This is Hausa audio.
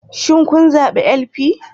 Shin kun zabi LP?